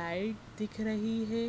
Light दिख रही है।